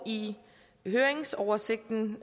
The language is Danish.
i høringsoversigten